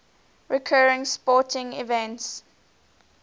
recurring sporting events